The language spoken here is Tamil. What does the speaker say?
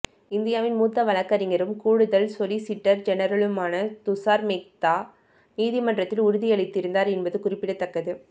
இந்தியாவின் மூத்த வழக்கறிஞரும் கூடுதல் சொலிசிட்டர் ஜெனரலுமான துஷார் மேத்தா நீதிமன்றத்தில் உறுதி அளித்திருந்தார் என்பது குறிப்பிடத்தக்கது